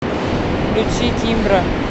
включи кимбра